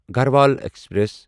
Garhwal express